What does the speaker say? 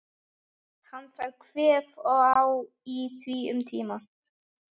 Hann fær kvef og á í því um tíma.